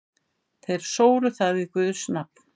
Þeir sóru það við guðs nafn.